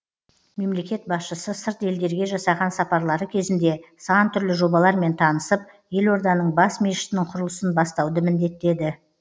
мемлекет басшысы сырт елдерге жасаған сапарлары кезінде сан түрлі жобалармен танысып елорданың бас мешітінің құрылысын бастауды міндеттеді